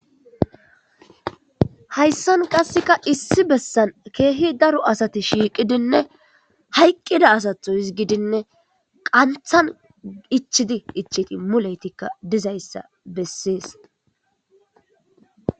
Hayssankka sa'an issi bassan keehi daroo asati shiiqidinne, hayqqida asata gidinne, qanthan itchidi itcheti muleyetikka dizayssa be'essees.